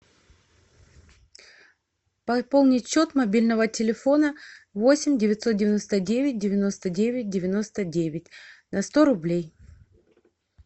пополнить счет мобильного телефона восемь девятьсот девяносто девять девяносто девять девяносто девять на сто рублей